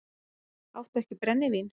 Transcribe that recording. Áttu ekki brennivín?